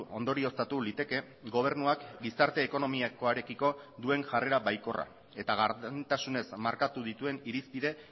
ondorioztatu liteke gobernuak gizarte ekonomikoarekiko duen jarrera baikorra eta gardentasunez markatu dituen irizpide